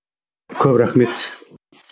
көп рахмет